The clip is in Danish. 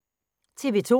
TV 2